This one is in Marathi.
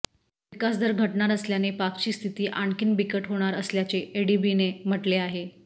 विकासदर घटणार असल्याने पाकची स्थिती आणखीन बिकट होणार असल्याचे एडीबीने म्हटले आहे